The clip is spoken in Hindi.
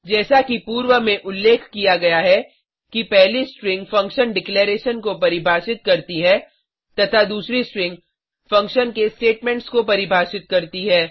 जैसा कि पूर्व में उल्लेख किया गया है कि पहली स्ट्रिंग फंक्शन डिक्लैरेशन को परिभाषित करती है तथा दूसरी स्ट्रिंग फंक्शन के स्टेटमेंट्स को परिभाषित करती है